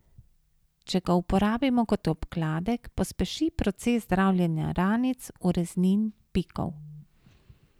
Če ga uporabimo kot obkladek, pospeši proces zdravljenja ranic, ureznin, pikov.